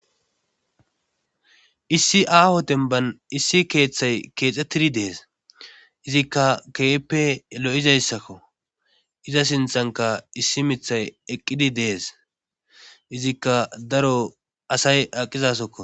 issi aaho denban issi keeththay keexxettidi dees izikka keeppe lo7izayssakko iza sinthanka issi mithay eqqidi dees izikka daro asay aqizasokko